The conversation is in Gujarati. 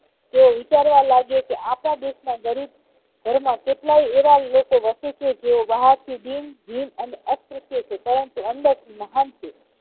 તેઓ વિચારવા લાગ્યા કે આપણા દેશમાં ગરીબ કેટલાય એવા લોકો વસેછે જેઓ બહારથી દિન ભિન્ન અને અતૃતીય છે પરંતુ અંદરથી મહાન છે